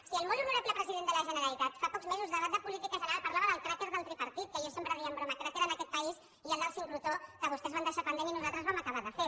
si el molt honorable president de la generalitat fa pocs mesos debat de política general parlava del cràter del tripartit que jo sempre deia de broma cràter en aquest país hi ha el de sincrotró que vostès van deixar pendent i nosaltres vam acabar de fer